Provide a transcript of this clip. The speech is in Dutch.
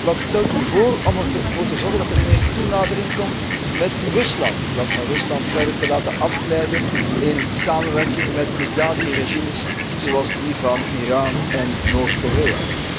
Wat stelt u bijvoorbeeld voor om ervoor te zorgen dat er meer toenadering komt met Rusland, in plaats van Rusland verder te laten afglijden in samenwerking met misdadige regimes, zoals die van Iran en Noord Korea?